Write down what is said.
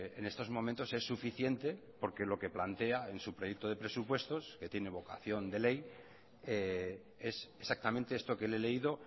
en estos momentos es suficiente porque lo que plantea en su proyecto de presupuestos que tiene vocación de ley es exactamente esto que le he leído